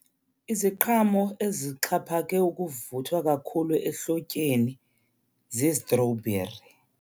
Iziqhamo ezixhaphake ukuvuthwa kakhulu ehlotyeni zizitrowubheri.